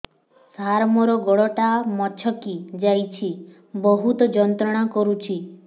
ସାର ମୋର ଗୋଡ ଟା ମଛକି ଯାଇଛି ବହୁତ ଯନ୍ତ୍ରଣା କରୁଛି